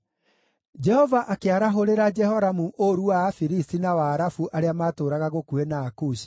Jehova akĩarahũrĩra Jehoramu ũũru wa Afilisti na wa Arabu arĩa maatũũraga gũkuhĩ na Akushi.